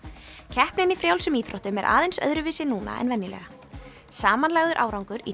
keppnin í frjálsum íþróttum er aðeins öðruvísi núna en venjulega samanlagður árangur í